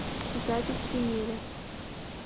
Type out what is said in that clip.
запись емеля